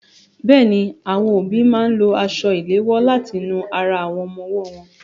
Bẹ́ẹ̀ni, àwọn òbí máa ń lo aṣọ ìléwọ láti nu ara àwọn ọmọ ọwọ́ wọn.